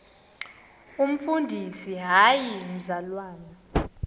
umfundisi hayi mzalwana